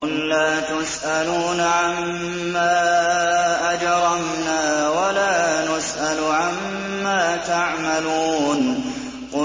قُل لَّا تُسْأَلُونَ عَمَّا أَجْرَمْنَا وَلَا نُسْأَلُ عَمَّا تَعْمَلُونَ